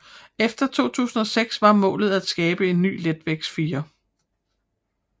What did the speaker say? Efter 2006 var målet at skabe en ny letvægtsfirer